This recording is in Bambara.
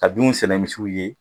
Ka binw sɛnɛ misiw ye.